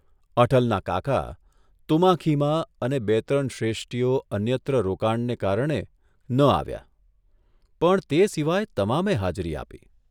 અટલના કાકા, તુમાખીમાં અને બે ત્રણ શ્રેષ્ઠીઓ અન્યત્ર રોકાણને કારણે ન આવ્યા, પણ તે સિવાય તમામે હાજરી આપી.